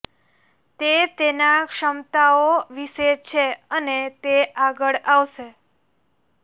તે તેના ક્ષમતાઓ વિશે છે અને તે આગળ આવશે